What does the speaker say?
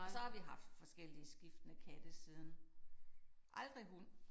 Og så har vi haft forskellige skiftende katte siden. Aldrig hund